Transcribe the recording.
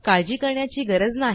काळजी करण्याची गरज नाही